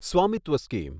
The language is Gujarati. સ્વામિત્વ સ્કીમ